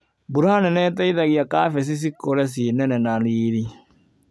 Mbura nene ĩteithagia kabeci cikũre cinene na riri.